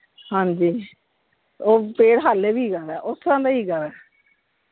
ਹਾਂਜੀ, ਉਹ ਪੇੜ ਹਾਲੀ ਵੀ ਹੈਗਾ ਵਾ ਓਥੋਂ ਦਾ ਹੀ ਹੈਗਾ ਵਾ।